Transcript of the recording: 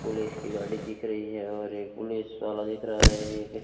police की गाड़ी दिख रही है और एक पुलिस वाला दिख रहा है एक --